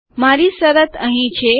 મારી શરત અહીં છે